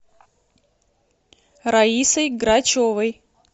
раисой грачевой